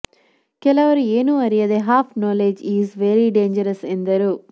ಕೆಲವರು ಏನು ಅರಿಯದೆ half knowledge is very danger ಎಂದರು